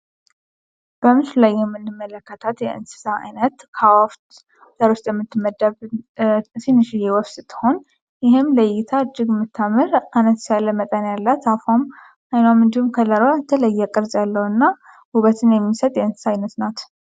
በምስሉ ላይ የምንመለከታት የእንስሳ አይነት ከአእዋፍ ዘር ውስጥ የምትመደብ ትንሽዬ ወፍ ስትሆን ይህም ለእይታ እጅግ የምታምር አነስ ያለ መጠን ያላት አፏም አይኗም እንድሁም ከለሯ የተለየ ቅርጽ ያለው እና ውበትን የሚሰጥ የእንስሳ አይነት ናት።